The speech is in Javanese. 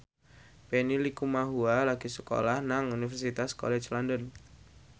Benny Likumahua lagi sekolah nang Universitas College London